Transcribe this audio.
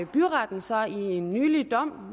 byretten så i en nylig dom